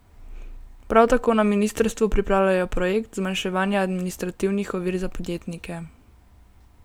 Prav tako na ministrstvu pripravljajo projekt zmanjševanja administrativnih ovir za podjetnike.